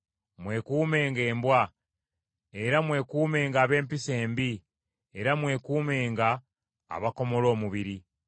Mwekuumenga embwa, era mwekuumenga ab’empisa embi, era mwekuumenga abakomola omubiri.